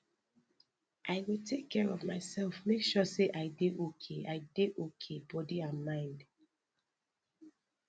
i go take care of myself make sure say i dey okay i dey okay body and mind